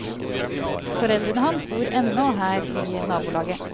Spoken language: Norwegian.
Foreldrene hans bor ennå her i nabolaget.